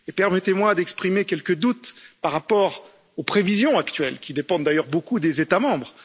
Permettez moi d'exprimer quelques doutes par rapport aux prévisions actuelles, qui dépendent d'ailleurs beaucoup des États membres.